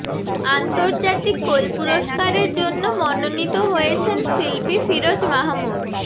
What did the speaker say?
আন্তর্জাতিক কোল পুরস্কারের জন্য মনোনীত হয়েছেন শিল্পী ফিরোজ মাহমুদ